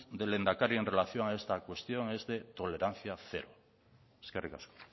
del lehendakari en relación a esta cuestión es de tolerancia cero eskerrik asko